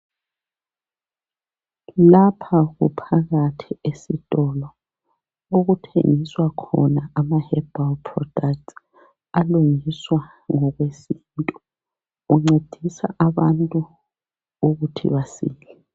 Lapha kuphakathi esitolo okuthengiswa khona ama(Herbal products)alungiswa ngokwesintu. Kuncedisa abantu ukuthi basile.